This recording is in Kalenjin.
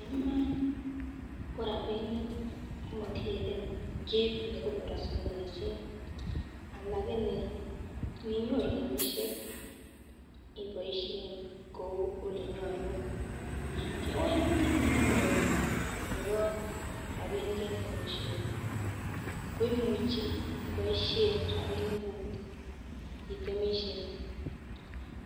En Iman ko rabinik komokilele kit nekonorokse lakini ninyoru rabishek iboishen kou olenyolu, kewekutyet neo nebo rabinik en temishet ko imuchi iboishen rabinikuk itemishe